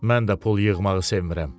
Mən də pul yığmağı sevmirəm.